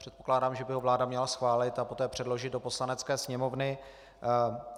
Předpokládám, že by ho vláda měla schválit a poté předložit do Poslanecké sněmovny.